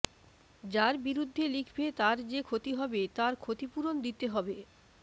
যার বিরুদ্ধে লিখবে তার যে ক্ষতি হবে তার ক্ষতিপূরণ দিতে হবে